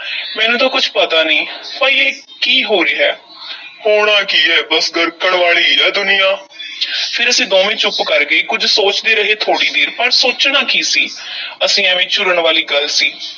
ਮੈਨੂੰ ਤਾਂ ਕੁਛ ਪਤਾ ਨਹੀਂ ਪਈ ਇਹ ਹੋ ਕੀ ਰਿਹਾ ਹੈ ਹੋਣਾ ਕੀ ਐ, ਬੱਸ ਗਰਕਣ ਵਾਲੀ ਹੀ ਐ ਦੁਨੀਆ ਫੇਰ ਅਸੀਂ ਦੋਵੇਂ ਚੁੱਪ ਕਰ ਗਏ, ਕੁਝ ਸੋਚਦੇ ਰਹੇ, ਥੋੜ੍ਹੀ ਦੇਰ ਪਰ ਸੋਚਣਾ ਕੀ ਸੀ ਅਸੀਂ ਐਵੇਂ ਝੁਰਨ ਵਾਲੀ ਗੱਲ ਸੀ।